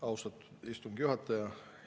Austatud istungi juhataja!